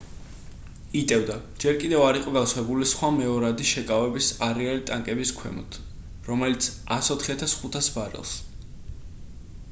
იტევდა ჯერ კიდევ არ იყო გავსებული სხვა მეორადი შეკავების არეალი ტანკების ქვემოთ რომელიც 104,500 ბარელს